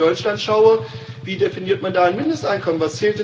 Wenn ich auf Deutschland schaue wie definiert man da ein Mindesteinkommen?